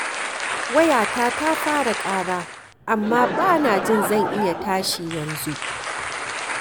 Wayata ta fara ƙara amma ba na jin zan iya tashi yanzu.